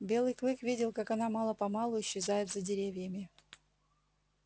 белый клык видел как она мало помалу исчезает за деревьями